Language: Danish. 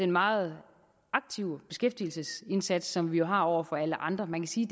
meget aktive beskæftigelsesindsats som vi jo har over for alle andre man kan sige